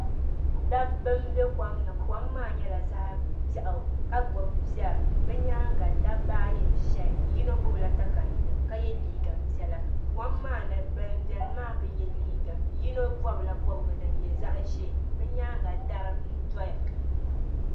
Dab bi m-be kom ni, kom maa nyala zaɣi beɣu kagbub pɛri. bi nyaa ŋa dabi ayi nzɛya yinɔ gbubi la takayuya ka ye liiga piɛla kom maani ban be ni maa bi ye liiga yinɔ bɔbla bɔbi ba din nyɛ zaɣi zɛɛ bi nyaa ŋa dari n doya.